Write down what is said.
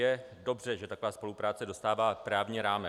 Je dobře, že taková spolupráce dostává právní rámec.